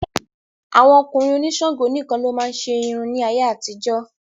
Àwọn ọkùnrin òní Ṣàngó nìkan ló máa ń ṣe irun ní ayé àtijó.